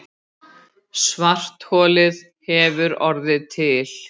Það verður að sönnu ekkert gleðiefni